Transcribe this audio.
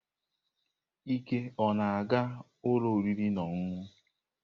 Ike ọ na-aga ụlọ oriri na ọṅụṅụ?